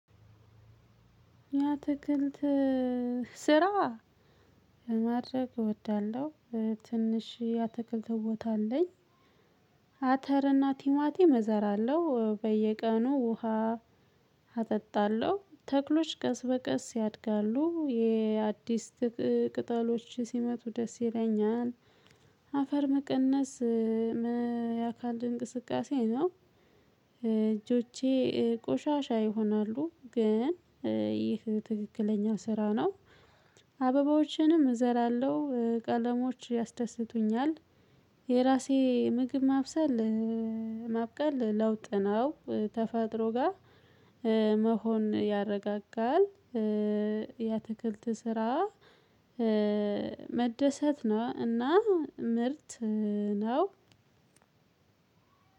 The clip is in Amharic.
ያተክልት ስራ ማድረግ እወዳለሁ ትንሽ ያተክልት ቦታ አለኝ። አተርና ቲማቲም እዘራለሁ በየቀኑ ውሃ አጠጣለሁ ተክሎች ቀስ በቀስ ያድጋሉ። የአዲስ ቅጠሎች ሲመጡ ደስ ይለኛል። አፈር መቀነስ የአካል እንቅስቃሴ ነው። እጆቼ ቆሻሻ ይሆናሉ ግን ይህ ትክክለኛ ስራ ነው። አበባዎችንም እዘራለሁ ቀለሞች ያስደስቱኛል። የራሴ ምግብ ማብሰል ማብቀል ለውጥ ነው። ተፈጥሮ ተፈጥሮጋ መሆን ያረጋጋል። የአትክልት ስራ መደሰት ነው እና ምርት ነው።